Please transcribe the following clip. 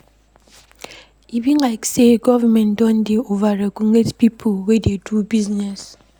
E be like sey government don dey over-regulate pipo wey dey do business.